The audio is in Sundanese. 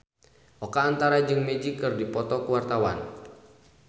Oka Antara jeung Magic keur dipoto ku wartawan